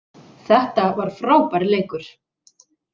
Þetta var frábær leikur